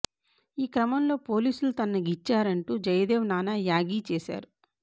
ఈ క్రమంలో పోలీసులు తనను గిచ్చారంటూ జయదేవ్ నానా యాగీ చేశారు